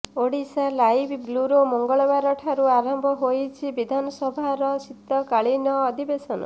Odisha live bureau ମଙ୍ଗଳବାରଠୁ ଆରମ୍ଭ ହେଉଛି ବିଧାନସଭାର ଶିତକାଳୀନ ଅଧିବେଶନ